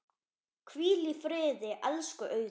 Hvíl í friði, elsku Auður.